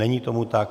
Není tomu tak.